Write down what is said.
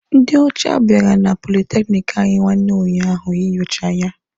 Ndị ocha biara na politekiniki anyị nwanne unyaahụ inyocha ya.